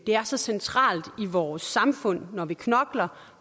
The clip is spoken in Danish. er så centralt i vores samfund at når vi knokler